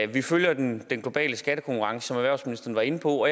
vi følger den globale skattekonkurrence som erhvervsministeren var inde på